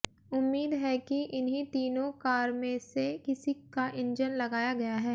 उम्मीद है कि इन्ही तीनो कार में से किसी का इंजन लगाया गया है